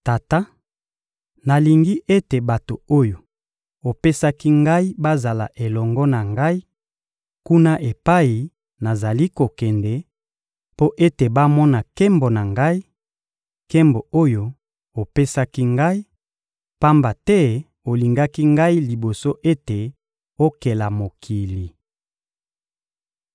Tata, nalingi ete bato oyo opesaki Ngai bazala elongo na Ngai kuna epai nazali kokende, mpo ete bamona nkembo na Ngai, nkembo oyo opesaki Ngai, pamba te olingaki Ngai liboso ete okela mokili.